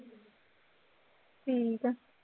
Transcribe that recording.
ਠੀਕ ਹੈ